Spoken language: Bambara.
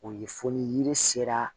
O ye fɔ ni yiri sera